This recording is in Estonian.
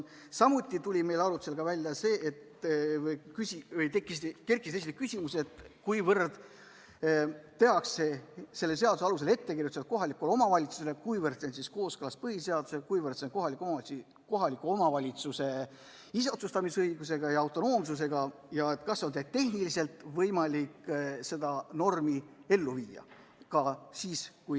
Samuti kerkisid meil arutelu käigus esile küsimused, kuivõrd tehakse selle seaduse alusel ettekirjutusi kohalikule omavalitsusele, kuivõrd see on kooskõlas põhiseadusega, kuivõrd kohaliku omavalitsuse iseotsustamisõigusega ja autonoomsusega ning kas tehniliselt on võimalik seda normi ellu viia.